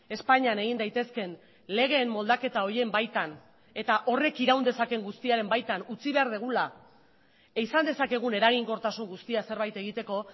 espainian egin daitezkeen legeen moldaketa horien baitan eta horrek iraun dezakeen guztiaren baitan utzi behar dugula izan dezakegun eraginkortasun guztia zerbait egiteko